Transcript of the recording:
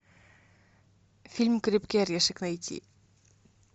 фильм крепкий орешек найти